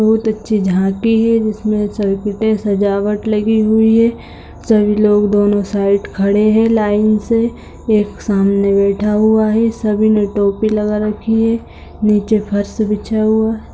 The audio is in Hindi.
बहुत अच्‍छी झांकी है जिसमें सजावट लगी हुई है सभी लोग दोनों साइड खड़े हैं लाइन से एक सामने बैठा हुआ है सभी ने टोपी लगा रखी है नीचे फर्श बिछा हुआ --